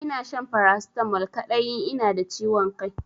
Ina shan paracetamol kadai in ina da ciwon Kai.